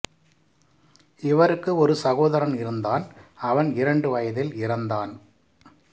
இவருக்கு ஒரு சகோதரன் இருந்தான் அவன் இரண்டு வயதில் இறந்தான்